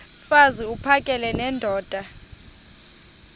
mfaz uphakele nendoda